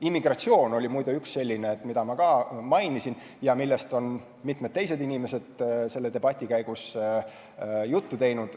Immigratsioon on muide üks selline, mida ma ka mainisin, ja millest mitmed on selle debati käigus juttu teinud.